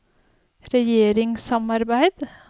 regjeringssamarbeid